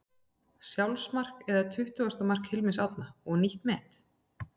Sjálfsmark eða tuttugasta mark Hilmars Árna og nýtt met?